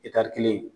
kelen